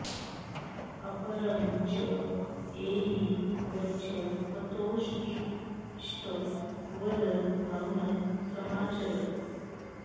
अपरं च एहि गच्छ पतोत्तिष्ठ वद मौनं समाचर